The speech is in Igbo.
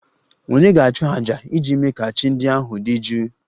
Ònye ga-achụ àjà iji mee ka chi ndị ahụ dị jụụ?